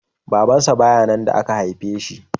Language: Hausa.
Babansa ba ya nan da aka haife shi